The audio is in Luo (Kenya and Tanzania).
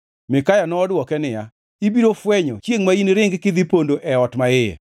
Mikaya nodwoke niya, “Ibiro fwenyo chiengʼ ma iniring kidhi pondo e ot maiye.”